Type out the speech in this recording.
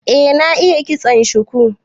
Eh, na iya ƙitson shuku.